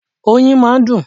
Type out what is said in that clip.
Oyin máa ń dùn.